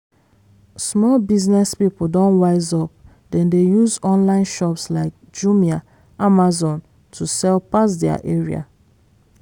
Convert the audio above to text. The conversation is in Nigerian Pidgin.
small business people don wise up dem dey use online shops like jumia amazon to sell pass their area.